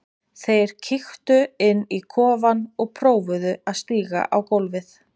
Þeir kíktu inn í kofann og prófuðu að stíga á gólfið.